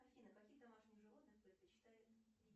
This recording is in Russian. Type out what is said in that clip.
афина каких домашних животных предпочитает